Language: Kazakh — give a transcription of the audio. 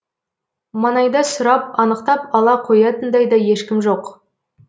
маңайда сұрап анықтап ала қоятындай да ешкім жоқ